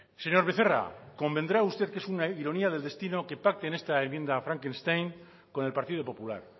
señor becerra convendrá usted que es una ironía del destino que pacten esta enmienda frankenstein con el partido popular